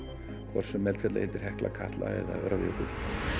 hvort sem eldfjallið heitir Hekla Katla eða Öræfajökull